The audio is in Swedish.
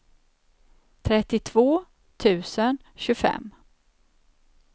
trettiotvå tusen tjugofem